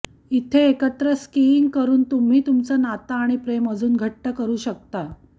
इथे एकत्र स्किइंग करून तुम्ही तुमचं नातं आणि प्रेम अजून घटं करू शकता